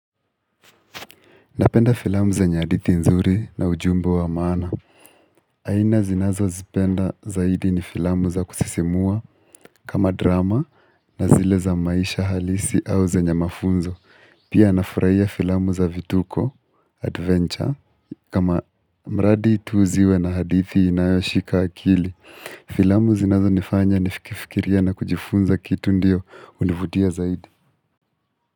Napenda filamu zenye hadithi nzuri na ujumbe wa maana. Aina zinazozipenda zaidi ni filamu za kusisimua kama drama na zile za maisha halisi au zenye mafunzo. Pia nafurahia filamu za vituko, adventure, kama mradi tu ziwe na hadithi inayoshika akili. Filamu zinazonifanya nifikifikiria na kujifunza kitu ndiyo hunivutia zaidi.